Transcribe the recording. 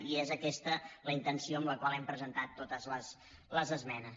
i és aquesta la intenció amb la qual hem presentat totes les esmenes